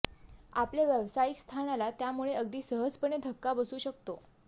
आपल्या व्यावसायिक स्थानाला त्यामूळे अगदी सहजपणे धक्का बसू शकतो